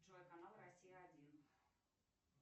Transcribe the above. джой канал россия один